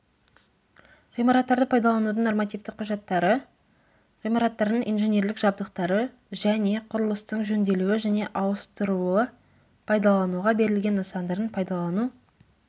ғимараттарды пайдаланудың нормативті құжаттары ғимараттардың инженерлік жабдықтары және құрылыстың жөнделуі және ауыстырылуы пайдалануға берілген нысандардың пайдалану